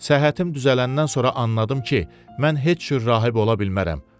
Səhhətim düzələndən sonra anladım ki, mən heç cür rahib ola bilmərəm.